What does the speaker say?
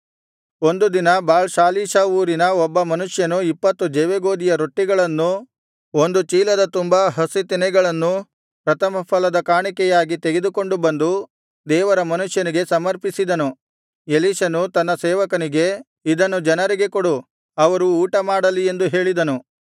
ಒಂದು ದಿನ Baal Shalishah ಊರಿನ ಒಬ್ಬ ಮನುಷ್ಯನು ಇಪ್ಪತ್ತು ಜವೆಗೋದಿಯ ರೊಟ್ಟಿಗಳನ್ನೂ ಒಂದು ಚೀಲದ ತುಂಬಾ ಹಸೀ ತೆನೆಗಳನ್ನೂ ಪ್ರಥಮಫಲದ ಕಾಣಿಕೆಯಾಗಿ ತೆಗೆದುಕೊಂಡು ಬಂದು ದೇವರ ಮನುಷ್ಯನಿಗೆ ಸಮರ್ಪಿಸಿದನು ಎಲೀಷನು ತನ್ನ ಸೇವಕನಿಗೆ ಇದನ್ನು ಜನರಿಗೆ ಕೊಡು ಅವರು ಊಟಮಾಡಲಿ ಎಂದು ಹೇಳಿದನು